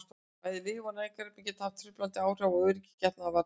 bæði lyf og næringarefni geta haft truflandi áhrif á öryggi getnaðarvarnarpilla